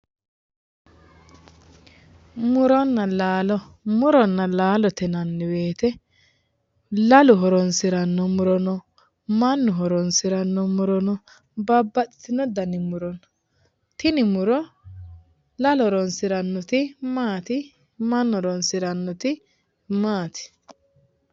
Muronna laalo muronna laalote yinanni woyite laalo horonsiranno no mannu horonsiranno muro no babbaxitino dani muro no tini murono lalu horonsirannoti maati mannu horonsirannoti maati?